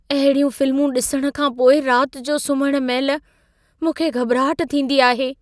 अहिड़ियूं फिल्मूं ॾिसण खां पोइ रात जो सुम्हण महिल मूंखे घॿराहट थींदी आहे।